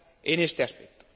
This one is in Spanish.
en este aspecto.